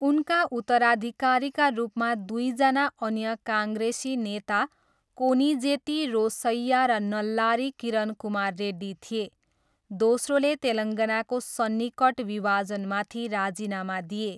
उनका उत्तराधिकारीका रूपमा दुईजना अन्य काङ्ग्रेसी नेता कोनिजेती रोसैया र नल्लारी किरण कुमार रेड्डी थिए, दोस्रोले तेलङ्गानाको सन्निकट विभाजनमाथि राजीनामा दिए।